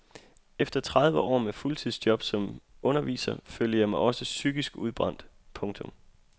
Efter tredive år med fuldtidsjob som underviser følte jeg mig også psykisk udbrændt. punktum